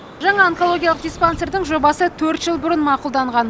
жаңа онкологиялық диспансердің жобасы төрт жыл бұрын мақұлданған